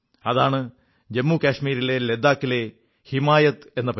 അതാണ് ജമ്മു കാശ്മീരിലെ ലഡാക്കിലെ ഹിമായത് എന്ന ഒരു പരിപാടി